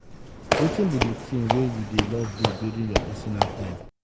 wetin be di thing wey you dey love do during your personal time?